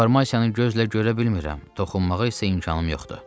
Deformasiyanı gözlə görə bilmirəm, toxunmağa isə imkanım yoxdur.